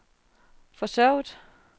forsøget